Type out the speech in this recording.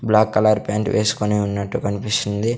Black colour pant వేసుకొని ఉన్నట్టు కన్పిస్తుంది.